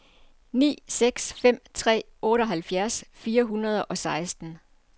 ni seks fem tre otteoghalvfjerds fire hundrede og seksten